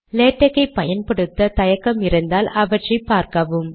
LaTeX ஐ பயன்படுத்த தயக்கம் இருந்தால் அவற்றை பார்க்கவும்